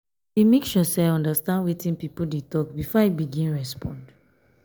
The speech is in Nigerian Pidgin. i dey make sure sey i understand wetin pipo dey tok before i begin respond.